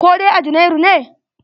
Koh dai a Jumnairu ne?